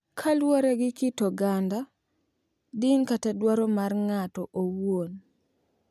Kaluwore gi kit oganda, din kata dwaro mar ng’ato owuon